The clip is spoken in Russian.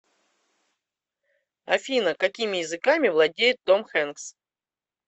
афина какими языками владеет том хенкс